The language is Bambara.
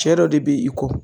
Cɛ dɔ de be i kɔ